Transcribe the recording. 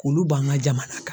K'olu ban ka jamana kan.